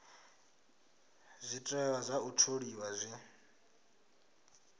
zwiteṅwa zwa u tholiwa zwi